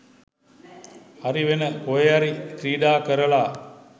හරි වෙන කොහේ හරි ක්‍රීඩා කරලා